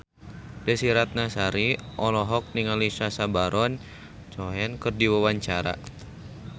Desy Ratnasari olohok ningali Sacha Baron Cohen keur diwawancara